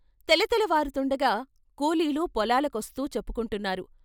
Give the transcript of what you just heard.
తెలతెలవారుతుండగా కూలీలు పొలాలకొస్తూ చెప్పుకుంటున్నారు.